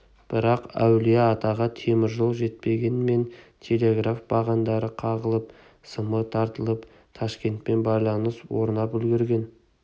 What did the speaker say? бірақ әулие-атаға темір жол жетпегенмен телеграф бағандары қағылып сымы тартылып ташкентпен байланыс орнап үлгірген